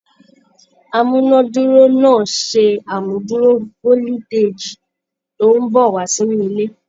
Amúnáduró náà ṣe amúduró foliteji tó n bọ wá sínú ilé.